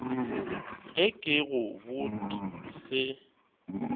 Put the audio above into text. ge ke go bot se